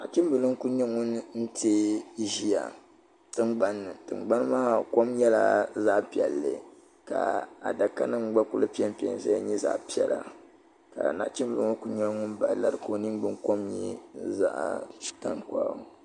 Nachimbila n kuli nyɛ ŋun teegi ʒia tingbanni tingbani maa kom nyɛla zaɣa piɛlli ka adaka nima gba kuli piɛmpe n zaya nyɛ zaɣa piɛla ka nachimbila ŋɔ kuli nyɛla ŋun bahi lari ka o ningbin kom nyɛ zaɣa tankpaɣu.